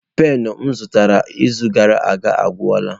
Penu m zụtara izu gara aga agwụla.